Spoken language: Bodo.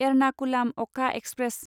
एरनाकुलाम अ'खा एक्सप्रेस